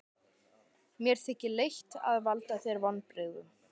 Mér þykir leitt að valda þér vonbrigðum.